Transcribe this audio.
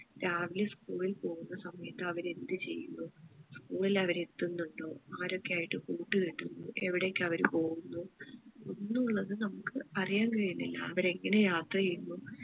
രാവിലെ school ഇൽ പോകുന്ന സമയത്ത് അവര് എന്തു ചെയ്യുന്നു school ഇൽ അവര് എത്തുന്നുണ്ടോ ആരൊക്കെ ആയിട്ട് കൂട്ടുകെട്ടുന്നു എവിടേക്ക് അവര് പോകുന്നു എന്നുള്ളത് നമുക്ക് അറിയാൻ കഴിയുന്നില്ല അവരെങ്ങനെ യാത്ര ചെയ്യുന്നു